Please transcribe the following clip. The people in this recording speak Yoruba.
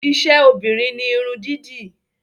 Iṣẹ́ obìnrin ni Irun dídì